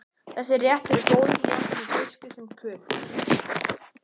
Þessi réttur er góður jafnt með fiski sem kjöti.